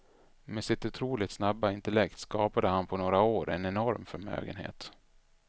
Med sitt otroligt snabba intellekt skapade han på några år en enorm förmögenhet.